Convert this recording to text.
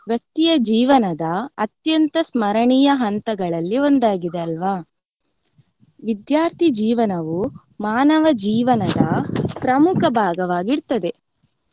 ವ್ಯಕ್ತಿಯ ಜೀವನದ ಅತ್ಯಂತ ಸ್ಮರಣೀಯ ಹಂತಗಳಲ್ಲಿ ಒಂದಾಗಿದೆ ಅಲ್ವಾ. ವಿದ್ಯಾರ್ಥಿ ಜೀವನವೂ ಮಾನವ ಜೀವನದ ಪ್ರಮುಖ ಭಾಗವಾಗಿರ್ತದೆ.